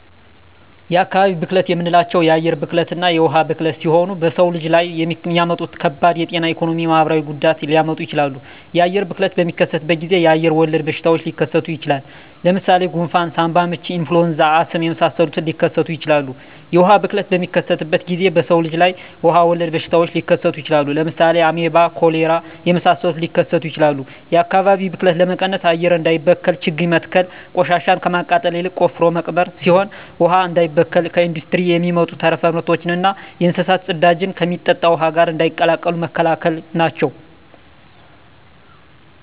የአካባቢ ብክለት የምንላቸው የአየር ብክለትና የውሀ ብክለት ሲሆኑ በሰው ልጅ ላይ የሚያመጡት ከባድ የጤና የኢኮኖሚ የማህበራዊ ጉዳት ሊያመጡ ይችላሉ። የአየር ብክለት በሚከሰትበት ጊዜ አየር ወለድ በሽታዎች ሊከሰቱ ይችላል። ለምሳሌ ጉንፍን ሳምባምች ኢንፍሉዌንዛ አስም የመሳሰሉትን ሊከሰቱ ይችላሉ። የውሀ ብክለት በሚከሰትበት ጊዜ በሰው ልጅ ላይ ውሀ ወለድ በሽታዎች ሊከሰቱ ይችላሉ። ለምሳሌ አሜባ ኮሌራ የመሳሰሉት ሊከሰቱ ይችላሉ። የአካባቢ ብክለት ለመቀነስ አየር እንዳይበከል ችግኝ መትከል ቆሻሻን ከማቃጠል ይልቅ ቆፍሮ መቅበር ሲሆን ውሀ እንዳይበከል ከኢንዱስትሪ የሚወጡ ተረፈ ምርቶችና የእንስሳት ፅዳጅን ከሚጠጣ ውሀ ጋር እንዳይቀላቀሉ መከላከል ናቸው።